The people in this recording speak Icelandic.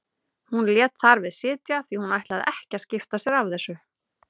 Hún lét þar við sitja því hún ætlaði ekki að skipta sér af þessu.